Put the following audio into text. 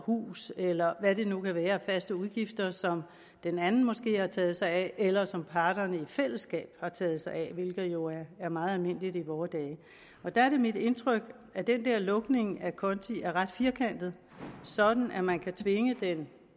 hus eller hvad det nu kan være af faste udgifter som den anden måske har taget sig af eller som parterne i fællesskab har taget sig af hvilket jo er meget almindeligt i vore dage der er det mit indtryk at den der lukning af konti er ret firkantet sådan at man kan tvinge den